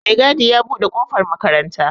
maigadi ya buɗe ƙofar makaranta